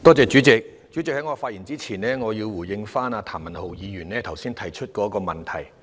代理主席，在發言之前，我想回應譚文豪議員剛才提出的問題。